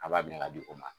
A b'a minɛ ka di o ma